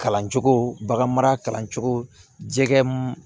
Kalan cogo baganmara kalancogo jɛkɛ